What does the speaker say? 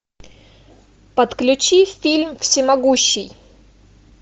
подключи фильм всемогущий